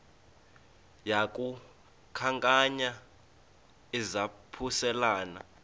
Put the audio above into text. yaku khankanya izaphuselana